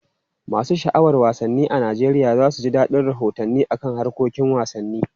Masu sha'awar wasanni a Najeriya za su ji dadin rahotanni kan harkokin wasanni.